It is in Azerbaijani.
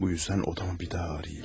Bu üzdən otamı bir daha arayım.